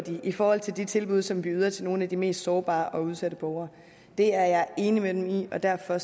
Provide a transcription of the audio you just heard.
i forhold til de tilbud som vi yder til nogle af de mest sårbare og udsatte borgere det er jeg enig med dem i og derfor